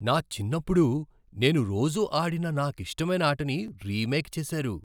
నా చిన్నప్పుడు నేను రోజూ ఆడిన నాకిష్టమైన ఆటని రీమేక్ చేశారు!